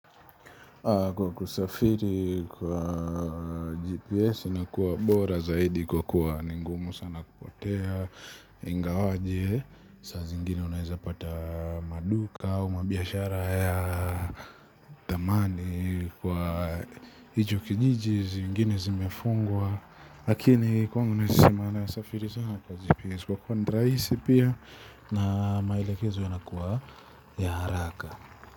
Kwa kusafiri kwa GPS ni kuwa bora zaidi kwa kuwa ni ngumu sana kupotea, ingawaje, saa zingine unaeza pata maduka au mabiashara haya thamani kwa hicho kijiji zingine zimefungwa lakini kwangu naezasema na safiri sana kwa GPS kwa kuwa rahisi pia na maelekezo yanakuwa ya haraka.